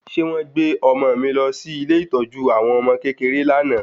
Ṣé wọ́n gbé ọmọ mi lọ sí ilé ìtọ́jú àwọn ọmọ kékeré lánàá